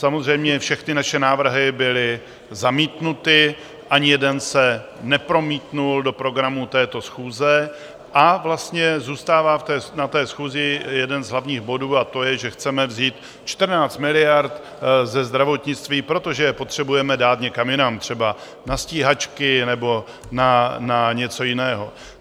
Samozřejmě všechny naše návrhy byly zamítnuty, ani jeden se nepromítl do programu této schůze a vlastně zůstává na té schůzi jeden z hlavních bodů a to je, že chceme vzít 14 miliard ze zdravotnictví, protože je potřebujeme dát někam jinam, třeba na stíhačky nebo na něco jiného.